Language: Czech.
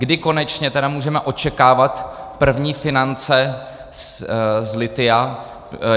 Kdy konečně tedy můžeme očekávat první finance z lithia.